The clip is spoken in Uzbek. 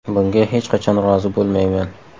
Bunga hech qachon rozi bo‘lmayman.